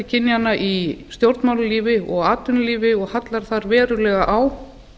kynjanna í stjórnmálalífi og atvinnulífi og hallar þar verulega á